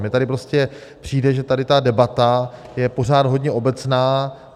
Mně tady prostě přijde, že tady ta debata je pořád hodně obecná.